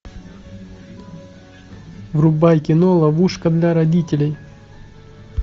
врубай кино ловушка для родителей